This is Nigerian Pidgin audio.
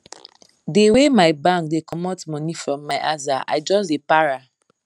the way my bank dey comot money from my aza i just dey para